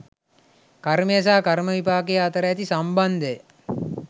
කර්මය සහ කර්ම විපාකය අතර ඇති සම්බන්ධය